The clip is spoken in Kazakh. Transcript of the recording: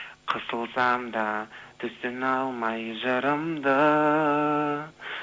қысылсам да түсіне алмай жырымды